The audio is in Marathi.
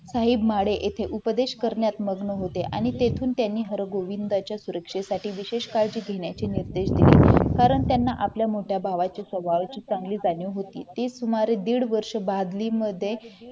साहेब माडे येथे उपदेश करण्यात मग्न होते आणि तेथे त्यांनी हरगोविंद यांच्या सुरक्षेसाठी विशेष काळजी घेण्याची निश्चय केले कारण त्यांना आपल्या मोठ्या भावाच्या स्वभावाची चांगली जाणीव होती ते सुमारे दीड वर्ष बादलीमध्ये